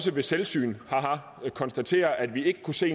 ved selvsyn konstatere at vi ikke kunne se